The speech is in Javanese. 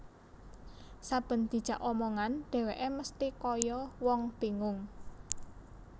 Saben dijak omongan dheweke mesthi kaya wong bingung